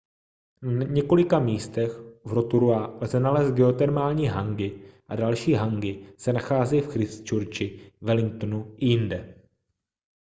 na několika místech v rotorua lze nalézt geotermální hangi a další hangi se nachází v christchurchi wellingtonu a jinde